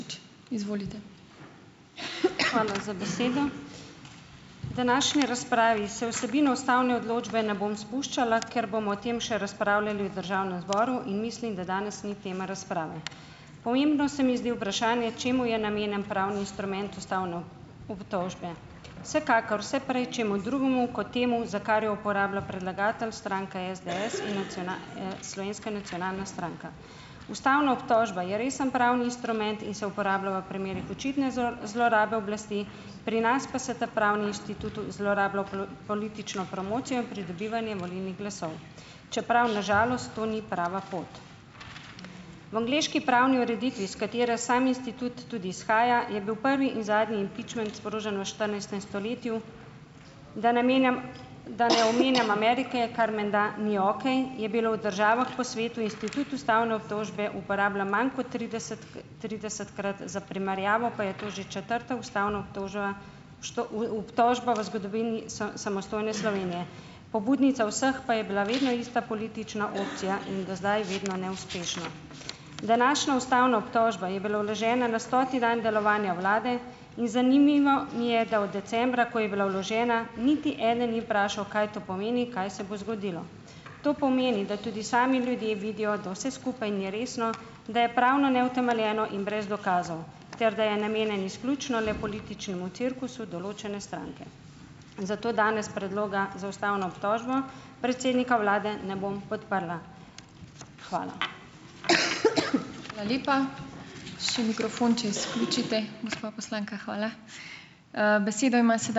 Hvala za besedo. V današnji razpravi se v vsebino ustavne odločbe ne bom spuščala, ker bomo o tem še razpravljali v državnem zboru in mislim, da danes ni tema razprave. Pomembno se mi zdi vprašanje, čemu je namenjen pravni instrument ustavne obtožbe. Vsekakor vse prej čemu drugemu kot temu, za kar jo uporablja predlagatelj, stranka SDS in Slovenska nacionalna stranka. Ustavna obtožba je resen pravni instrument in se uporablja v primerih očitne zlorabe oblasti, pri nas pa se ta pravni institut zlorablja v politično promocijo in pridobivanje volilnih glasov, čeprav na žalost to ni prava pot. V angleški pravni ureditvi, s katere sam institut tudi izhaja, je bil prvi in zadnji impičment sprožen v štirinajstem stoletju, da ne menjam da ne omenjam Amerike ,, kar menda ni okej, je bilo v državah po svetu institut Ustavne obtožbe uporablja manj kot trideset tridesetkrat, za primerjavo, pa je to že četrta ustavna obtožba v obtožba v zgodovini samostojne Slovenije. Pobudnica vseh pa je bila vedno ista politična opcija in do zdaj vedno neuspešna. Današnja ustavna obtožba je bila vložena na stoti dan delovanja vlade in zanimivo mi je, da od decembra, ko je bila vložena, niti eden ni vprašal, kaj to pomeni, kaj se bo zgodilo. To pomeni, da tudi sami ljudje vidijo, da vse skupaj ni resno, da je pravno neutemeljeno in brez dokazov, ter da je namenjen izključno le političnemu cirkusu določene stranke. Zato danes predloga za ustavno obtožbo predsednika vlade ne bom podprla. Hvala.